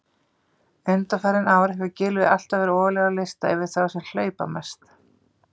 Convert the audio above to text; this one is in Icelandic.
Undanfarin ár hefur Gylfi alltaf verið ofarlega á lista yfir þá sem hlaupa mest.